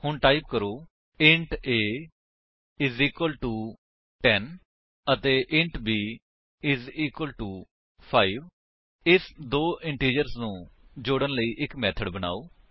ਹੁਣ ਟਾਈਪ ਕਰੋ int a is equal to 10 and int b is equal to 5 ਇਸ ਦੋ ਇੰਟੀਜਰਸ ਨੂੰ ਜੋੜਨ ਲਈ ਇੱਕ ਮੇਥਡ ਬਨਾਓ